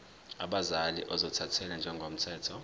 abazali ozothathele ngokomthetho